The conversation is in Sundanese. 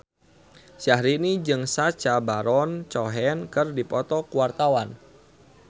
Syahrini jeung Sacha Baron Cohen keur dipoto ku wartawan